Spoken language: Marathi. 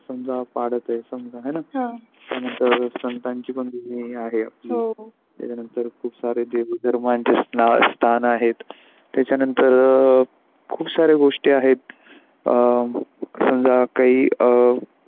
त्यानंतर संतांची पण भूमी आहे त्याच्यानंतर देवी धर्मांचे स्थान आहे त्याचा नंतर खूप सारे गोष्टी आहेत अ समजा काही अ.